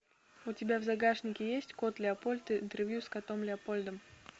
у тебя в загашнике есть кот леопольд интервью с котом леопольдом